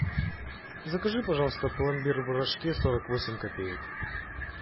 закажи пожалуйста пломбир в рожке сорок восемь копеек